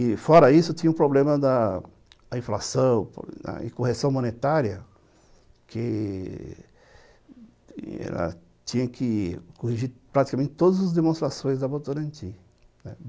E fora isso, tinha o problema da inflação e correção monetária, que ela tinha que corrigir praticamente todas as demonstrações da Votorantim, né.